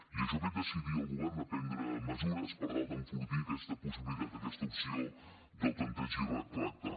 i això ha fet decidir el govern a prendre mesures per tal d’enfortir aquesta possibilitat aquesta opció del tempteig i retracte